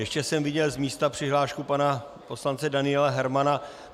Ještě jsem viděl z místa přihlášku pana poslance Daniela Hermana.